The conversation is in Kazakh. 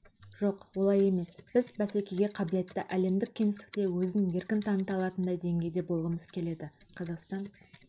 жоқ олай емес біз бәсекеге қабілетті әлемдік кеңістікте өзін еркін таныта алатындай деңгейде болғымыз келеді қазақстан